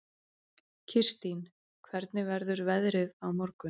Kirstín, hvernig verður veðrið á morgun?